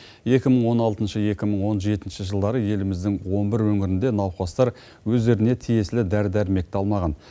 екі мың он алтыншы екі мың он жетінші жылдары еліміздің он бір өңірінде науқастар өздеріне тиесілі дәрі дәрмекті алмаған